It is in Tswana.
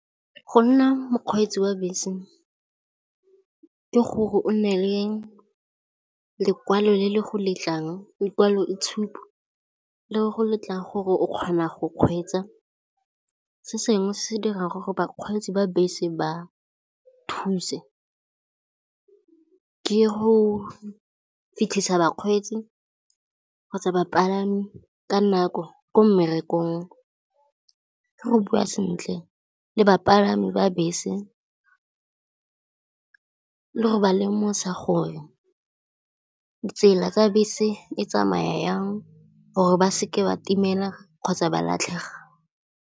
Go nna mokgweetsi wa bese ke gore o nne le lekwalo le le go letlang, lekwaloitshupo le go letlang gore o kgona go kgweetsa. Se sengwe se se dirang gore bakgweetsi ba bese ba thuse, ke go fitlhisa bakgweetsi kgotsa bapalami ka nako ko mmerekong, ke go bua sentle le bapalami ba bese le go ba lemosa gore tsela tsa bese e tsamaya yang gore ba seke ba timela kgotsa ba latlhega.